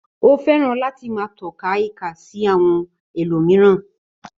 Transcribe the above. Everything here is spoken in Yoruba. Ó fẹ́ràn láti máa tọ́ka ìka sí àwọn ẹlòmíràn.